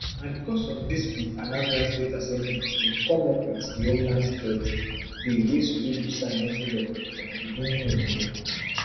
na becos of dis di anambra state assembly bin come up wit dihomeland security billwey soludo sign into law for di beginning of di year